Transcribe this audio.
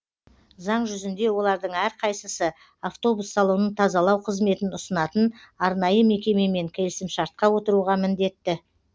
заң жүзінде олардың әрқайсысы автобус салонын тазалау қызметін ұсынатын арнайы мекемемен келісімшартқа отыруға міндетті